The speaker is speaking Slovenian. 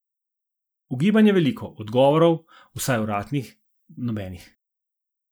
Ugibanj je veliko, odgovorov, vsaj uradnih, nobenih.